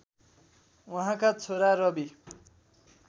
उहाँका छोरा रवि